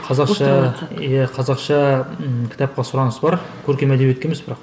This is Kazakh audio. иә қазақша ммм кітапқа сұраныс бар көркем әдебиетке емес бірақ